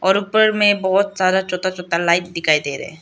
और ऊपर में बहोत सारा छोता छोता लाइत दिखाई दे रहे है।